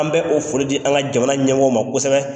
An bɛ o foli di an ka jamana ɲɛ ma kosɛbɛ.